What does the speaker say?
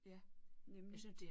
Ja nemlig